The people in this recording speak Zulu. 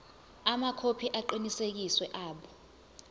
amakhophi aqinisekisiwe abo